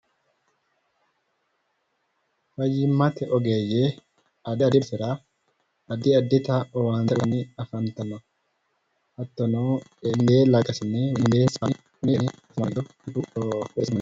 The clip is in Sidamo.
Fayyimmate ogeeyye addi addi sira addi addita owaante uuytanni afantanno hattono